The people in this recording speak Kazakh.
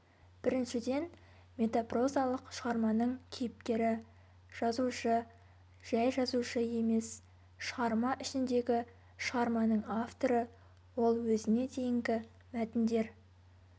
біріншіден метапрозалық шығарманың кейіпкері жазушы жай жазушы емес шығарма ішіндегі шығарманың авторы ол өзіне дейінгі мәтіндер